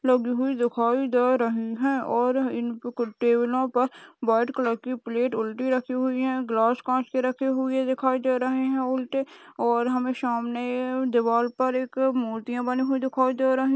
लकड़ी दिखाई दे रही है और इन टेबलो पर व्हाइट कलर की प्लेट उल्टी रखी हुई है गिलास कांच के रखे हुए दिखाई दे रहे हैं। उल्टे और हमें सामने दीवार पर एक मूर्तियां बनी हो रही --